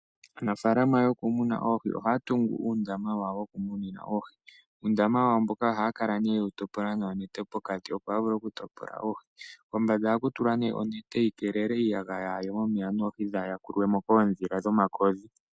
Aanafaalama yokumuna oohi ohaya tungu uundama wawo wokumunina oohi. Uundama wawo mboka ohaya kala yewu topola noonete pokati, opo a vule oku topola oohi. Kombanda ohaku tulwa onete yi keele iiyagaya yaaye momeya, noohi dhaa yakulwemo koodhila dhomakodhi.